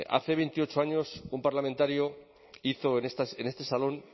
hace veintiocho años un parlamentario hizo en este salón